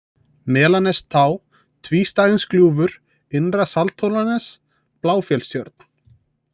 Melanestá, Tvístæðingsgljúfur, Innra-Sandhólanes, Bláfellstjörn